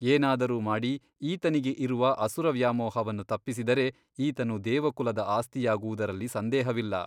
ಏನಾದರೂ ಮಾಡಿ ಈತನಿಗೆ ಇರುವ ಅಸುರವ್ಯಾಮೋಹವನ್ನು ತಪ್ಪಿಸಿದರೆ ಈತನು ದೇವಕುಲದ ಆಸ್ತಿಯಾಗುವುದರಲ್ಲಿ ಸಂದೇಹವಿಲ್ಲ.